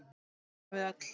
Það gerum við öll.